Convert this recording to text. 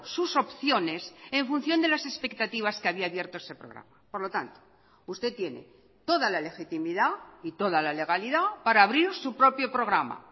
sus opciones en función de las expectativas que había abierto ese programa por lo tanto usted tiene toda la legitimidad y toda la legalidad para abrir su propio programa